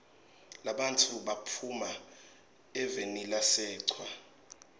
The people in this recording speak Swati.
labantfu bahuma evenilasechwa